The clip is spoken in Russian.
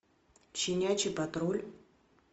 щенячий патруль